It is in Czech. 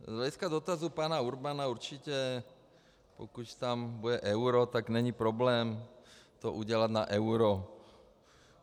Z hlediska dotazů pana Urbana - určitě, pokud tam bude euro, tak není problém to udělat na euro.